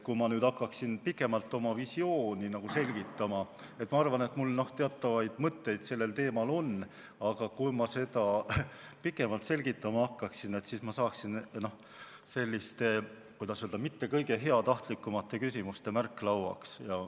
Kui ma nüüd hakkaksin pikemalt oma visiooni selgitama – ma arvan, et mul teatavaid mõtteid sellel teemal on –, aga kui ma seda pikemalt selgitama hakkaksin, siis ma saaksin, noh, selliste, kuidas öelda, mitte kõige heatahtlikumate küsimuste märklauaks.